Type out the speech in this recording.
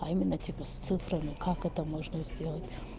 а именно типа с цифрами как это можно сделать